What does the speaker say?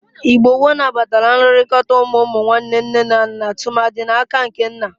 Igbo gboo nabatara nlụrịkọta ụmụ ụmụnwanne nne na nna tụmadị n'aka nke nna.